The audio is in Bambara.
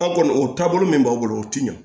An kɔni o taabolo min b'an bolo o ti ɲɛ